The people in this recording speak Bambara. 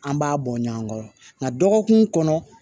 An b'a bɔ ɲɔgɔn kɔrɔ nka dɔgɔkun kɔnɔ